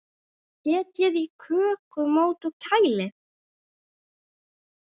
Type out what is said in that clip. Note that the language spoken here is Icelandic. Setjið í kökumót og kælið.